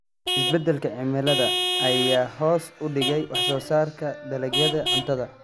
Isbeddelka cimilada ayaa hoos u dhigay wax soo saarka dalagyada cuntada.